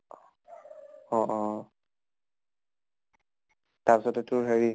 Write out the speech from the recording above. অ অহ। তাৰ পিছতে তোৰ হেৰি